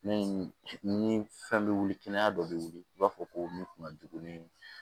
Ni ni fɛn bɛ wuli kɛnɛya dɔ bɛ wili i b'a fɔ ko min kun ka jugu ne ye